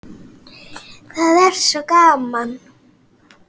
Það er svo gaman.